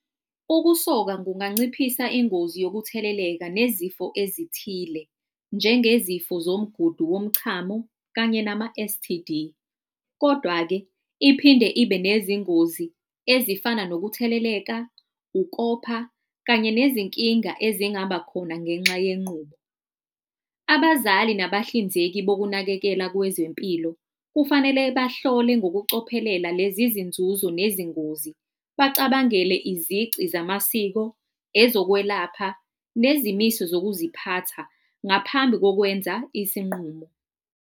Ukusoka kunganciphisa ingozi yokutheleleka nezifo ezithile, njengezifo zomgudu womchamo kanye nama-S_T_D. Kodwa-ke iphinde ibe nezingozi ezifana nokutheleleka, ukopha kanye nezinkinga ezingaba khona ngenxa yenqubo. Abazali nabahlinzeki bokunakekela kwezempilo kufanele bahlole ngokucophelela lezi izinzuzo nezingozi, bacabangele izici zamasiko, ezokwelapha nezimiso zokuziphatha ngaphambi kokwenza isinqumo.